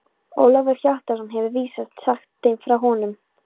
Ólafur Hjaltason hefur vísast sagt þeim frá honum.